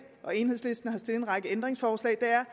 og enhedslisten har stillet en række ændringsforslag er